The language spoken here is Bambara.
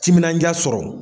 Timinadiya sɔrɔ.